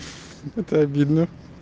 это обидно